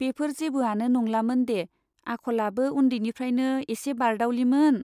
बेफोर जेबोआनो नंलामोन दे , आखलाबो उन्दैनिफ्रायनो एसे बारदाउलिमोन।